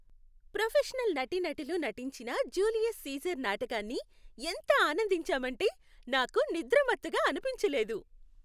Professional నటీనటులు నటించిన Julius Caesar నాటకాన్ని ఎంత అనందించామంటే నాకు నిద్రమత్తుగా అనిపించలేదు.